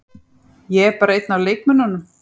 Ég er bara einn af leikmönnunum.